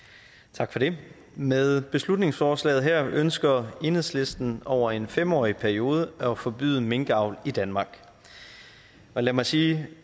tak for det med beslutningsforslaget her ønsker enhedslisten over en fem årig periode at forbyde minkavl i danmark og lad mig sige